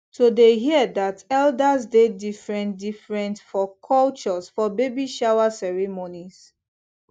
to dey hear that elders dey different different for cultures for baby shower ceremonies